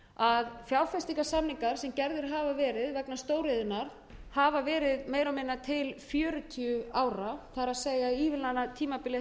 að fjárfestingarsamningar sem gerðir hafa verið vegna stóriðjunnar hafa verið meira og minna til fjörutíu ára það er ívilnanatímabilið hefur staðið yfir í